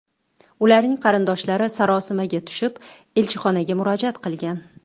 Ularning qarindoshlari sarosimaga tushib, elchixonaga murojaat qilgan.